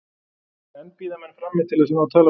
Enn bíða menn frammi til þess að ná tali af forsetanum.